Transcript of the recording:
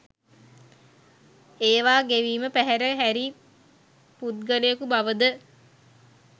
ඒවා ගෙවීම පැහැර හැරි පුද්ගලයකු බවද